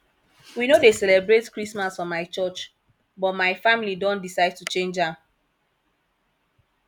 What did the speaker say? we no dey celebrate christmas for my curch but my family don decide to change am